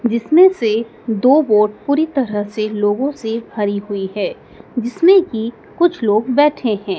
जिसमें से दो बोट पूरी तरह से लोंगो से भरी हुई हैं जिसमें की कुछ लोग बैठे हैं।